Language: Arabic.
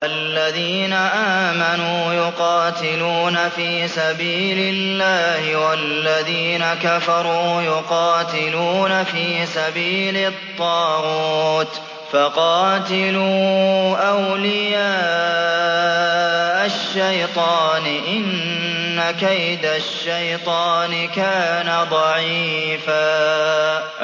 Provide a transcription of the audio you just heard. الَّذِينَ آمَنُوا يُقَاتِلُونَ فِي سَبِيلِ اللَّهِ ۖ وَالَّذِينَ كَفَرُوا يُقَاتِلُونَ فِي سَبِيلِ الطَّاغُوتِ فَقَاتِلُوا أَوْلِيَاءَ الشَّيْطَانِ ۖ إِنَّ كَيْدَ الشَّيْطَانِ كَانَ ضَعِيفًا